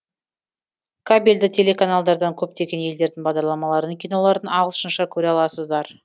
кабельді телеканалдардан көптеген елдердің бағдарламаларын киноларын ағылшынша көре аласыздар